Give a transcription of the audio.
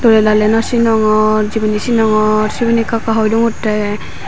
doley daley naw sinongor jibini sinongor sibini ekka ekka hoi dongottey.